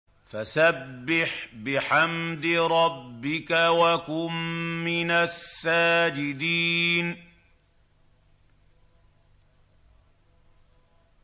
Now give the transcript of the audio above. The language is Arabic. فَسَبِّحْ بِحَمْدِ رَبِّكَ وَكُن مِّنَ السَّاجِدِينَ